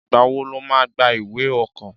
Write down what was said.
Ìgbá wò lò mà gbà ìwé ọ̀kọ́?